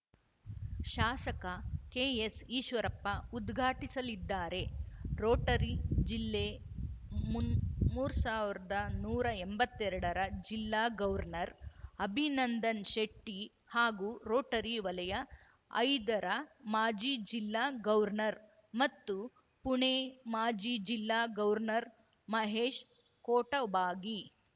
ಶಾಸಕ ಕೆಎಸ್‌ ಈಶ್ವರಪ್ಪ ಉದ್ಘಾಟಿಸಲಿದ್ದಾರೆ ರೋಟರಿ ಜಿಲ್ಲೆ ಮುನ್ ಮೂರ್ ಸಾವಿರ್ದಾ ನೂರಾ ಎಂಬತ್ತೆರಡರ ಜಿಲ್ಲಾ ಗವರ್ನರ್‌ ಅಭಿನಂದನ್‌ಶೆಟ್ಟಿಹಾಗೂ ರೋಟರಿ ವಲಯ ಐದರ ಮಾಜಿ ಜಿಲ್ಲಾ ಗವರ್ನರ್‌ ಮತ್ತು ಪುಣೆ ಮಾಜಿ ಜಿಲ್ಲಾ ಗವರ್ನರ್‌ ಮಹೇಶ್‌ ಕೊಟಬಾಗಿ